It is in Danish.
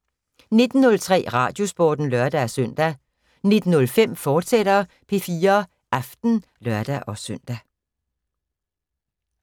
19:03: Radiosporten (lør-søn) 19:05: P4 Aften, fortsat (lør-søn)